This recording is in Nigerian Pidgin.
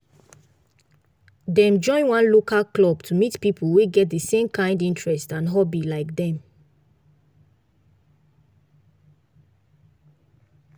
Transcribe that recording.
dem join one local club to meet people wey get the same kind interest and hobby like dem